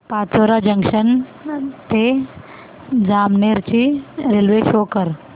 Pachora junction ते जामनेर ची railway show कर